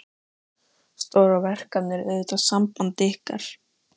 Stóra verkefnið er auðvitað samband ykkar.